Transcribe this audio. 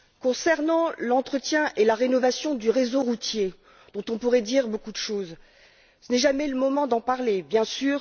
Concernant l'entretien et la rénovation du réseau routier dont on pourrait dire beaucoup de choses ce n'est jamais le moment d'en parler, bien sûr.